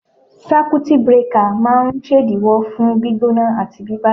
Sákútì brekà máa ń ṣèdíwọ́ fún gbígbóná àti bíbàjẹ́.